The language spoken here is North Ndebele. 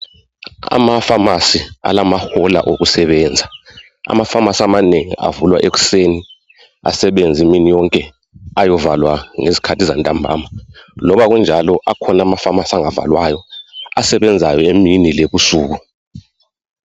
Ama"pharmacy" alamahola okusebenza. Ama"pharmacy" amanengi avulwa ekuseni, asebenze imini yonke ayovalwa ngezikhathi zantambama. Loba kunjalo akhona ama"pharmacy" angavalwayo asebenzayo emini lebusuku.